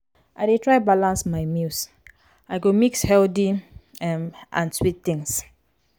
i dey try balance my meals; i go mix healthy um and sweet things.